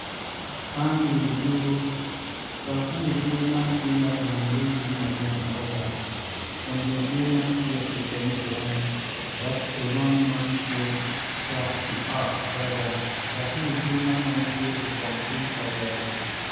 Man wi odur dok wi odur man tye ki onyo iye yugi madwong adada tye i dog pii nam yeya tye mapol i nam acel tye i nam i ngeye pol nen dok wi odur man weng tye opong ki kavere.